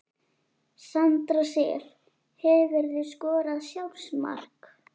Sandra Sif Hefurðu skorað sjálfsmark?